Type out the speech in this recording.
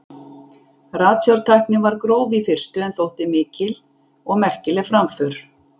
ratsjártæknin var gróf í fyrstu en þótti þó mikil og merkileg framför